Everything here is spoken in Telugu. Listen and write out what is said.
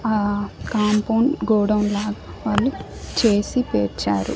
ఆ కాంపౌండ్ గోడౌన్ లాగా వాళ్ళు చేసి పేర్చారు.